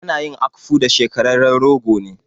Ana yin akpu da shekararren rogo ne.